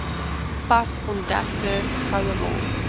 pas ontdekte gouemol